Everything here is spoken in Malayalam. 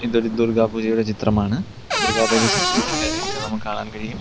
ഇതൊരു ദുർഗ്ഗാ പൂജയുടെ ചിത്രമാണ് ദുർഗ്ഗാ ദേവി സിംഹത്തിൽ കയറി ഇരിക്കുന്നത് നമുക്ക് കാണാൻ കഴിയും.